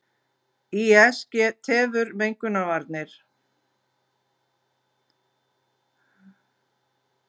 Ís tefur mengunarvarnir